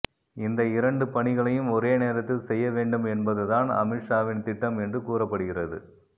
இந்த இரண்டு பணிகளையும் ஒரே நேரத்தில் செய்ய வேண்டும் என்பதுதான் அமித்ஷாவின் திட்டம் என்று கூறப்படுகிறது